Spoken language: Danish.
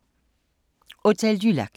Hotel du Lac